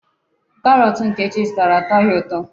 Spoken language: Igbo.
Karọọtụ Nkechi zụtara atọghị ụtọ.